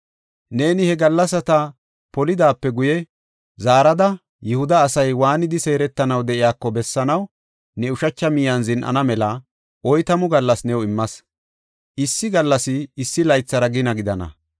“Neeni he gallasata polidaape guye, zaarada, Yihuda asay waanidi seeretanaw de7iyako bessanaw ne ushacha miyen zin7ana mela oytamu gallas new immas. Issi gallasi issi laythara gina gidana.